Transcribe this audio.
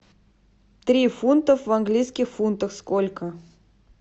три фунта в английских фунтах сколько